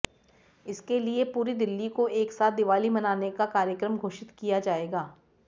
इसके लिए पूरी दिल्ली को एक साथ दिवाली मनाने का कार्यक्रम घोषित किया जायेगा